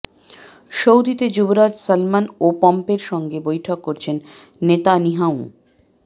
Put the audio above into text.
সৌদিতে যুবরাজ সালমান ও পম্পেওর সঙ্গে বৈঠক করেছেন নেতানিয়াহু